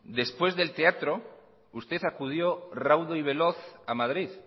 después del teatro usted acudió raudo y veloz a madrid